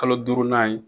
Kalo duurunan ye